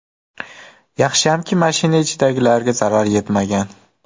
Yaxshiyamki, mashina ichidagilarga zarar yetmagan.